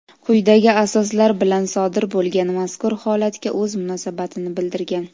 quyidagi asoslar bilan sodir bo‘lgan mazkur holatga o‘z munosabatini bildirgan.